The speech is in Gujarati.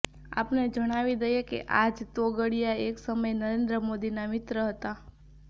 આપને જણાવી દઈએ કે આ જ તોગડિયા એક સમયે નરેન્દ્ર મોદીના મિત્ર હતા